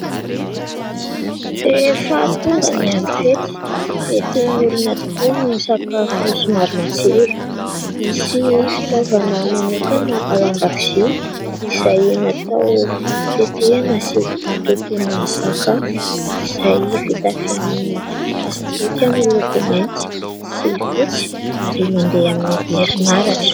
Rehefa tonga ny andro fety dia tian'ny olona tokoa ny misakafo somary matsiro. Misy fitaovana manokana ao an-dakozia izay natao itetehana sy itotoana sakafo izay vita amin'ny plastika amin'ny loko mainty sy fotsy ary mandeha amin'ny herinaratra.